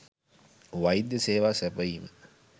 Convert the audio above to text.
වෛද්‍ය සේවා සැපයීම